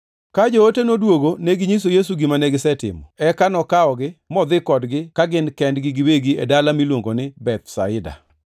Ka joote noduogo neginyiso Yesu gima negisetimo. Eka nokawogi modhi kodgi ka gin kendgi giwegi e dala miluongo ni Bethsaida,